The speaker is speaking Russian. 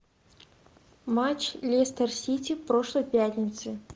матч лестер сити прошлой пятницы